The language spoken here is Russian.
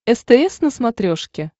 стс на смотрешке